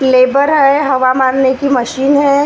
Labour है हवा मारने की मशीन है।